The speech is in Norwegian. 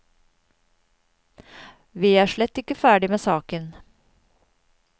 Vi er slett ikke ferdig med saken.